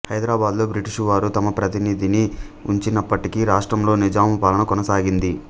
హైదరాబాదులో బ్రిటిషు వారు తమ ప్రతినిధిని ఉంచినప్పటికీ రాష్ట్రంలో నిజాము పాలన కొనసాగింది